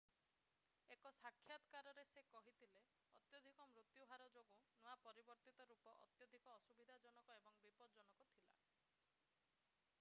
ଏକ ସାକ୍ଷାତକାରରେ ସେ କହିଥିଲେ ଅତ୍ୟଧିକ ମୃତ୍ୟୁ ହାର ଯୋଗୁଁ ନୂଆ ପରିବର୍ତ୍ତିତ ରୂପ ଅତ୍ୟଧିକ ଅସୁବିଧାଜନକ ଏବଂ ବିପଦଜନକ ଥିଲା